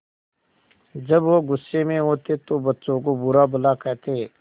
जब वह गुस्से में होते तो बच्चों को बुरा भला कहते